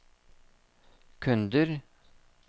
kunder